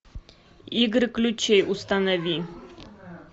игры ключей установи